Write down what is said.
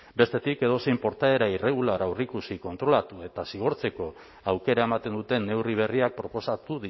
bestetik edozein portaera irregular aurreikusi kontrolatu eta zigortzeko aukera ematen duten neurri berriak proposatu